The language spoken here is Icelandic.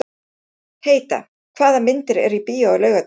Heida, hvaða myndir eru í bíó á laugardaginn?